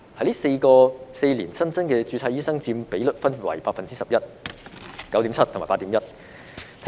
這4年新增註冊醫生所佔比率分別為 11%、9.7% 和 8.1%。